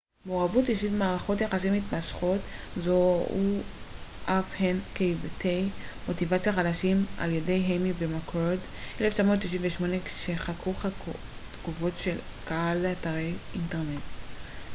"""מעורבות אישית" ו""מערכות יחסים מתמשכות" זוהו אף הן כהיבטי מוטיבציה חדשים על ידי איימי ומקורד 1998 כשחקרו תגובות של קהל לאתרי אינטרנט.